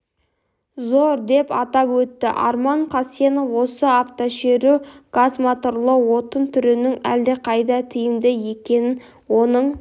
зор деп атап өтті арман қасенов осы автошеру газмоторлы отын түрінің әлдеқайда тиімді екенін оның